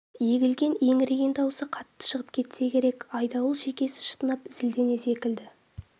егілген еңіреген дауысы қатты шығып кетсе керек айдауыл шекесі шытынап зілдене зекіді